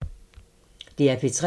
DR P3